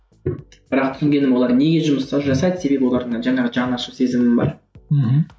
бірақ түсінгенім олар не жұмыстар жасайды себебі олардың жаңағы жанашыр сезімім бар мхм